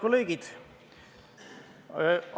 Head kolleegid!